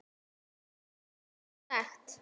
Borga sekt?